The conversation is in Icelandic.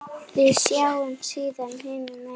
Við sjáumst síðar hinum megin.